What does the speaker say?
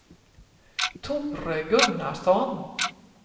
Tore Gunnarsson